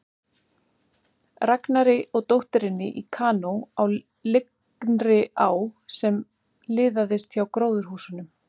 Ragnari og dótturinni í kanó á lygnri á sem liðaðist hjá gróðurhúsunum.